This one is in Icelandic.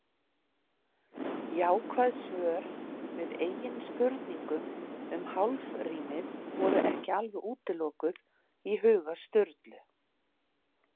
Jákvæð svör við eigin spurningum um hálfrímið voru ekki alveg útilokuð í huga Sturlu.